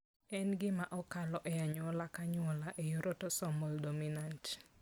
En gima okalo e anyuola ka anyuola e yor autosomal dominant.